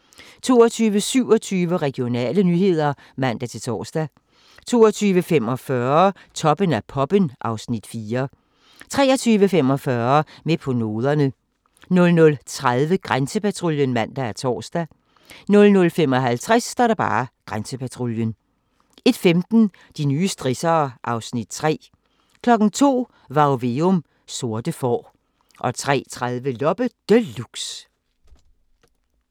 22:27: Regionale nyheder (man-tor) 22:45: Toppen af poppen (Afs. 4) 23:45: Med på noderne 00:30: Grænsepatruljen (man og tor) 00:55: Grænsepatruljen 01:15: De nye strissere (Afs. 3) 02:00: Varg Veum - Sorte får 03:30: Loppe Deluxe